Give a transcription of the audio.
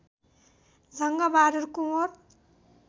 Jang Bahadur Kunwar